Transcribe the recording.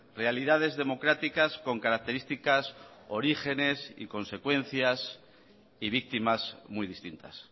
realidades democráticas con características orígenes y consecuencias y víctimas muy distintas